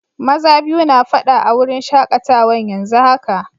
Maza biyu na fada a'wurin shakatawan yanzu haka.